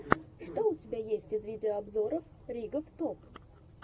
что у тебя есть из видеообзоров ригоф топ